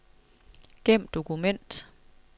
Gem dokument.